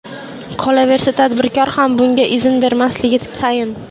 Qolaversa, tadbirkor ham bunga izn bermasligi tayin.